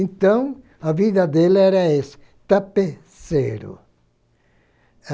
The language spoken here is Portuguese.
Então, a vida dele era essa, tapeceiro.